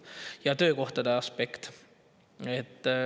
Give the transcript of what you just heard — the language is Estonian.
Ja on ka töökohtade aspekt.